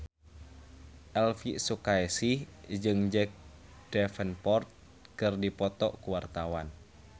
Elvy Sukaesih jeung Jack Davenport keur dipoto ku wartawan